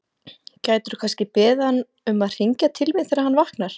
Gætirðu kannski beðið hann um að hringja til mín þegar hann vaknar?